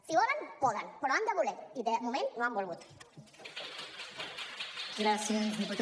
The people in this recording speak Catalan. si volen poden però han de voler i de moment no han volgut